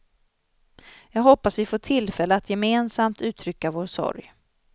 Jag hoppas vi får tillfälle att gemensamt uttrycka vår sorg.